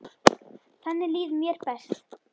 Þannig líður mér best.